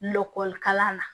Dɔkɔlikalan na